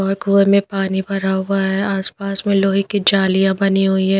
और कुए में पानी भरा हुआ है आसपास में लोहे की जालियाँ बनी हुई है।